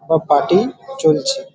বা পার্টি চলছে।